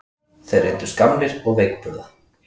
Þeir reyndust gamlir og veikburða